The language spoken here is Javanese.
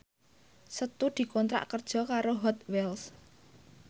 Setu dikontrak kerja karo Hot Wheels